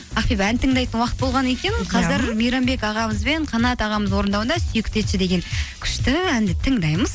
ақбибі ән тыңдайтын уақыт болған екен қазір мейрамбек ағамыз бен қанат ағамыз орындауында сүйікті етші деген күшті әнді тыңдаймыз